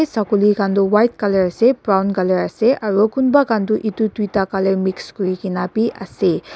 saguli khan toh white colour ase brown colour ase aro kunba toh edu tuita colour bi mix kurikaena biase.